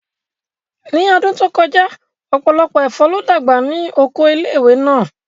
Ní ọdún tó kọjá, ọ̀pọ̀lọpọ̀ ẹ̀fọ́ ló dàgbà ní Oko ilé ìwé náà